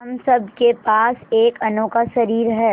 हम सब के पास एक अनोखा शरीर है